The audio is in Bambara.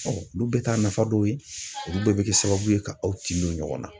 olu bɛɛ t'a nafa dɔw ye, olu bɛɛ bɛ kɛ sababu ye ka aw tinw don ɲɔgɔn na.